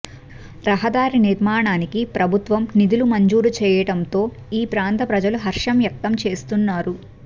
రహదారి నిర్మాణానికి ప్రభుత్వం నిధులు మంజూరు చేయటంతో ఈ ప్రాంత ప్రజలు హర్షం వ్యక్తం చేస్తున్నారు